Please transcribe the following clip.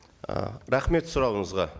ы рахмет сұрағыңызға